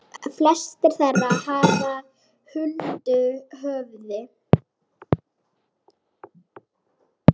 Flestir þeirra fara huldu höfði.